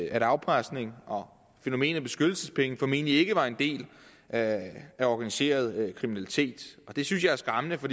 at afpresning og fænomenet beskyttelsespenge formentlig ikke var en del af af organiseret kriminalitet det synes jeg er skræmmende for